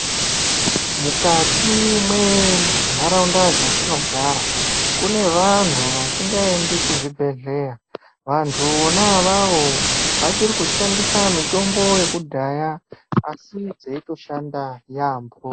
Mukati mwenharaunda dzatinogara, kune vanhu vasingaendi kuzvibhedhleya. Vantu vona avavo, vachiri kushandisa mitombo yekudhaya asi dzeitoshanda yaambo.